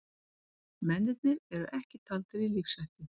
Mennirnir eru ekki taldir í lífshættu